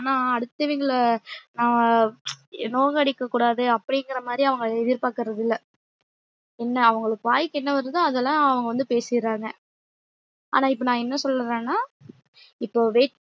ஆனா அடுத்தவிங்கள அஹ் நோக அடிக்கக்கூடாது அப்டிங்கிறமாறி அவங்க எதிர்ப்பாக்குறது இல்ல என்ன அவுங்களுக்கு வாய்க்கு என்ன வருதோ அதுலா அவங்க வந்து பேசிறாங்க ஆனா இப்ப நான் என்ன சொல்ல வரேன்னா இப்ப weight